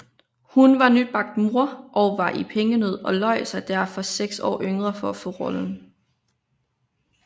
Hun var nybagt mor og var i pengenød og løj sig derfor seks år yngre for at få rollen